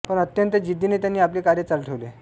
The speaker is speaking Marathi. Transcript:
पण अत्यंत जिद्दीने त्यांनी आपले कार्य चालू ठेवले